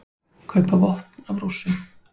Kaupa vopn af Rússum